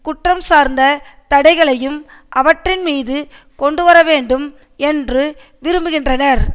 குற்றம் சார்ந்த தடைகளையும் அவற்றின் மீது கொண்டு வர வேண்டும் என்று விரும்புகின்றனர்